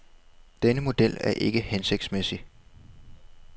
Denne model er ikke hensigtsmæssig.